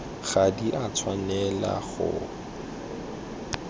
ga di a tshwanela go